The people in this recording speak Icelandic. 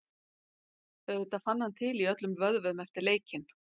Auðvitað fann hann til í öllum vöðvum eftir leikinn.